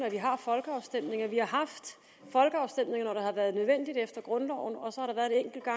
at vi har folkeafstemninger vi har haft folkeafstemninger har været nødvendigt efter grundloven og